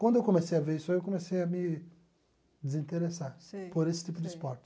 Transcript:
Quando eu comecei a ver isso aí, eu comecei a me desinteressar. Sei. Por esse tipo de esporte.